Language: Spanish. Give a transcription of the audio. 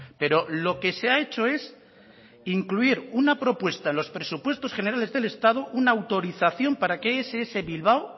pero lo que se ha hecho es incluir una propuesta en los presupuestos generales del estado una autorización para que ess bilbao